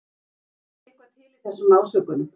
Er ekki eitthvað til í þessum ásökunum?